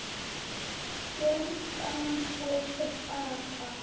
Jörgen og Svava.